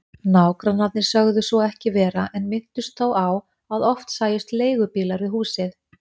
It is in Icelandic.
Nágrannarnir sögðu svo ekki vera en minntust þó á að oft sæjust leigubílar við húsið.